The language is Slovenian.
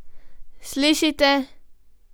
Slišite?